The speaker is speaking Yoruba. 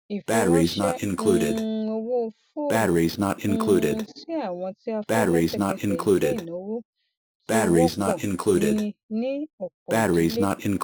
ìfiránṣé um owó foonu um sí àwọn tí a fẹ lẹsẹkẹsẹ jẹ ináwó tí wọpọ ní ní ọpọ ìdílé